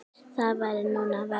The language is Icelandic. Það væri nú verra.